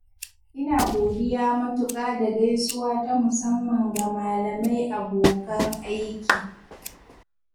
ina godiya matuƙa da gaisuwa ta musamman ga malamai abokan aiki.